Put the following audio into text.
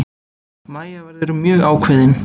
Mæja verður mjög ákveðin.